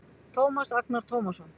Tómas Agnar Tómasson